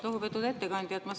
Lugupeetud ettekandja!